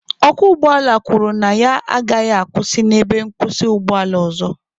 Ọkwọ ụgbọala kwuru na ya agaghị akwụsị n'ebe nkwụsị ụgbọ ala ọzọ.